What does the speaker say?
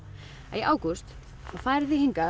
í ágúst þá farið þið hingað